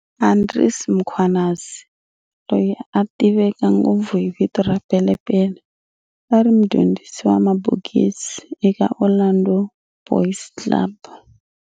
Andries Mkhwanazi, loyi a tiveka ngopfu hi vito ra"Pele Pele", a ri mudyondzisi wa mabokisi eka Orlando Boys Club.